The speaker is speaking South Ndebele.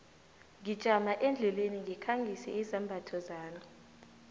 ngijama endleleni ngikhangise izambatho zami